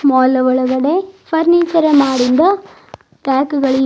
Mall ನ ಒಳಗಡೆ furniture ಮಾಡಿಂದ ರ್ಯಾಕ್ ಗಳಿವೆ.